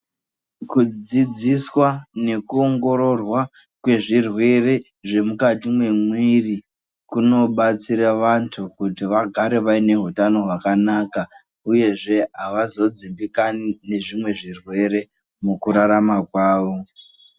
Kudzidziswa nekuongororwa kwezvirwere zvemukati memwiri kunobatsira vantu kuti vagare vane hutano hwakanaka uyezve avazodzimbikani nezvimwe zvirwere mukurarama kwawo.